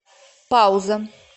пауза